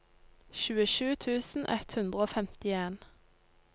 tjuesju tusen ett hundre og femtien